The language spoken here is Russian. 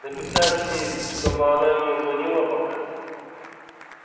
написать ей чтобы она не звонила пока